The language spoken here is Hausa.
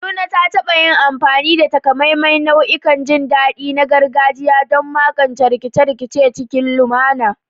Kaduna ta taɓa yin amfani da takamaiman nau'ikan jin daɗi na gargajiya don magance rikice-rikice cikin lumana.